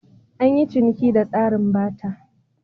An yi ciniki ta tsarin Barter.